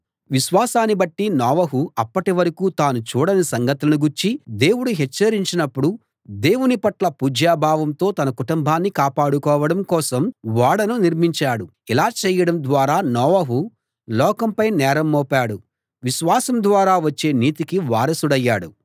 విశ్వాసాన్ని బట్టి నోవహు అప్పటివరకూ తాను చూడని సంగతులను గూర్చి దేవుడు హెచ్చరించినప్పుడు దేవుని పట్ల పూజ్య భావంతో తన కుటుంబాన్ని కాపాడుకోవడం కోసం ఓడను నిర్మించాడు ఇలా చేయడం ద్వారా నోవహు లోకంపై నేరం మోపాడు విశ్వాసం ద్వారా వచ్చే నీతికి వారసుడయ్యాడు